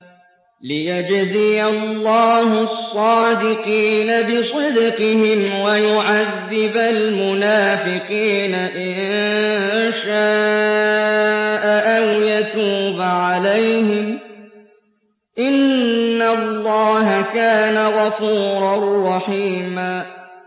لِّيَجْزِيَ اللَّهُ الصَّادِقِينَ بِصِدْقِهِمْ وَيُعَذِّبَ الْمُنَافِقِينَ إِن شَاءَ أَوْ يَتُوبَ عَلَيْهِمْ ۚ إِنَّ اللَّهَ كَانَ غَفُورًا رَّحِيمًا